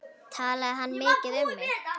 Talaði hann mikið um mig?